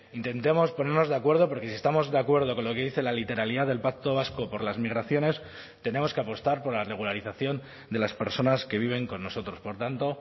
intentemos ponernos de acuerdo porque si estamos de acuerdo con lo que dice la literalidad del pacto vasco por las migraciones tenemos que apostar por la regularización de las personas que viven con nosotros por tanto